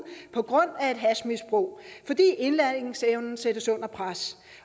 på grund af et hashmisbrug fordi indlæringsevnen sættes under pres